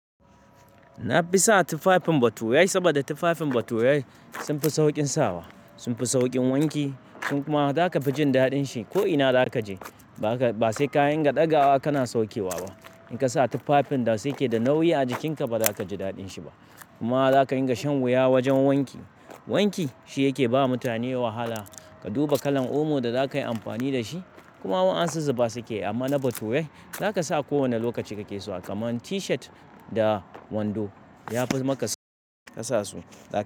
Na fi sa tufafin bature saboda tufafin bature sun fi saukin sawa, sun fi saukin wanki. Kuma za ka fi jin daɗin shi ko'ina da za ka je. Ba sai ka yan ga ɗagawa ka na saukewa ba. In ka sa tufafin da sai ke da nauyi a jikinka, ba za ka ji daɗin shi ba. Kuma za ka yin ga shen wuya wajen wanki. Wanki shi yake ba mutane wahala. Ka duba kalan omo da za ka yi amfani da shi kuma wadansu zuba su ke. Amma na bature za ka sa ko wane lokaci ka ke so. Kaman tishat da wando. Ya fi maka sa ka sa su.